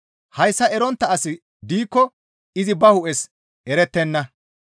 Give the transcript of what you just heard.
Hayssa erontta asi diikko izi ba hu7es erettenna.